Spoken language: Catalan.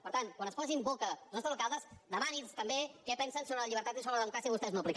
per tant quan es posi en boca els nostres alcaldes demani’ls també què pensen sobre la llibertat i sobre la democràcia que vostès no apliquen